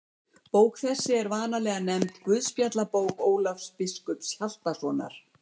Bók þessi er vanalega nefnd Guðspjallabók Ólafs biskups Hjaltasonar.